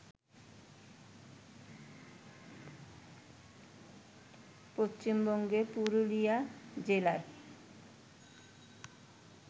পশ্চিমবঙ্গের পুরুলিয়া জেলার